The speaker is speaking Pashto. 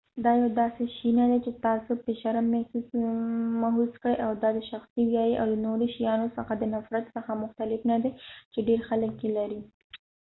دا يو داسې شې نه دی چې تاسو پې شرم محوس کړئ دا د شخصي ویرې او د نورو شیانو څخه د نفرت څخه مختلف نه دی چې ډیر خلک یې لري